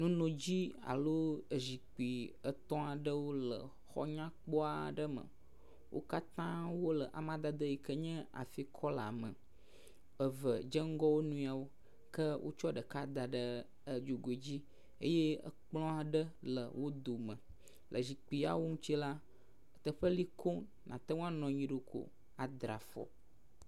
Nunodzi alo zikpui etɔ̃ aɖewo le exɔ nyakpɔ aɖe me. Wo katã wo le amadede yi nye afikɔla me. Eve dze ŋgɔ wo nɔewo ke wotsɔ ɖeka da ɖe dzogui dzi eye ekplɔ aɖe le wo dome. Le zikpui ya wo ŋutsi la teƒe li koŋ nate ŋu anɔ anyi ɖo ko adra afɔ.